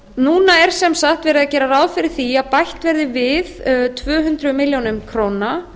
núna er sem sagt verið að gera ráð fyrir því að bætt verði við tvö hundruð milljóna króna